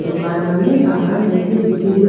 दुकाना में सामान रखयो दिखे रियो।